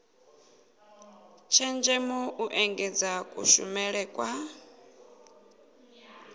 tshenzhemo u engedza kushumele kwa